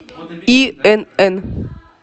инн